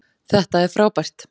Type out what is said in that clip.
Þetta er frábært